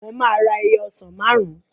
Mo máa ra ẹyọ ọsàn máàrún